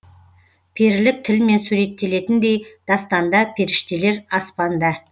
перілік тілмен суреттелетіндей дастанда періштелер аспанда